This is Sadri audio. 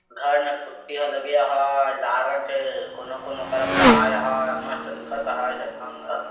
घर में पुट्टि लगए है लाल रंग के कौनों -कौनों करपोताये है मस्त दिखत है